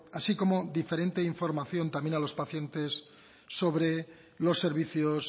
así como diferente información también a los pacientes sobre los servicios